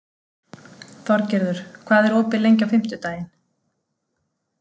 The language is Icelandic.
Þorgerður, hvað er opið lengi á fimmtudaginn?